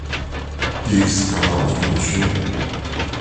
икс канал включи